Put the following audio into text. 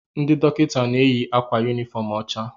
Ndị dọkịta na-eyi akwa yunifọọm ọcha.